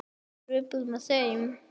Er svipur með þeim?